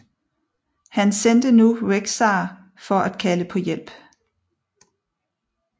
Han sendte nu Rexxar for at kalde på hjælp